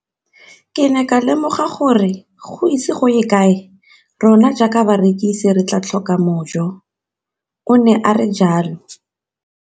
Ke ne ka lemoga gore go ise go ye kae rona jaaka barekise re tla tlhoka mojo, o ne a re jalo.